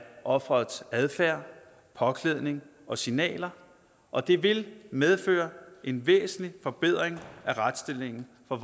offerets adfærd påklædning og signaler og det vil medføre en væsentlig forbedring af retsstillingen for